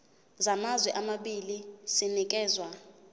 samazwe amabili sinikezwa